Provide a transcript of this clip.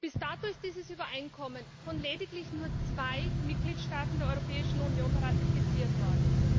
Bis dato ist dieses Übereinkommen von lediglich zwei Mitgliedstaaten der Europäischen Union ratifiziert worden.